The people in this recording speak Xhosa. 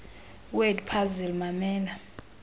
word puzzle mamela